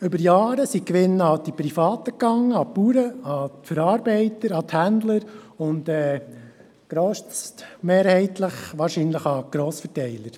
Über Jahre gingen die Gewinne an die Privaten, an Bauern, Verarbeiter, Händler und grossmehrheitlich wahrscheinlich an Grossverteiler.